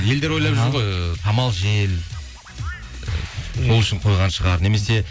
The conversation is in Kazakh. елдер ойлап жүр ғой самал жел сол үшін қойған шығар немесе